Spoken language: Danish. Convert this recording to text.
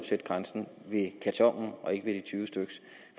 sætte grænsen ved et karton og ikke ved de tyve styk